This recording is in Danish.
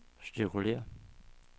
cirkulér